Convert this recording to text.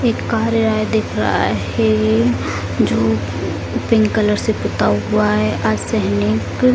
एक कार्यालय दिख रहा है यह जो पिंक कलर से पोता हुआ है अर्धसैनिक --